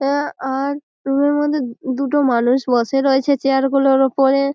Air আর রুমের মধ্যে দুটো মানুষ বসে রয়েছে চেয়ার গুলোর ওপরে।